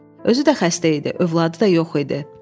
Özü də xəstə idi, övladı da yox idi.